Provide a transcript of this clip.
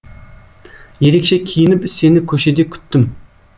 ерекше киініп сені көшеде күттім